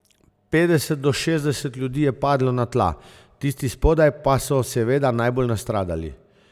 Petdeset do šestdeset ljudi je padlo na tla, tisti spodaj pa so seveda najbolj nastradali.